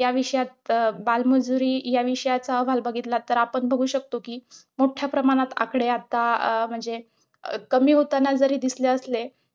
या विषयात बालमजुरी या विषयाचा अहवाल बघितला तर आपण बघू शकतो कि मोठ्या प्रमाणात आकडे आता आह म्हणजे कमी होताना जरी दिसले असले,